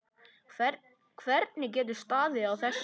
Hvernig getur staðið á þessu.